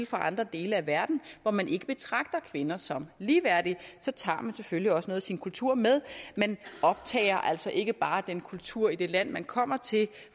fra andre dele af verden hvor man ikke betragter kvinder som ligeværdige så tager man selvfølgelig også noget af sin kultur med man optager altså ikke bare den kultur i det land man kommer til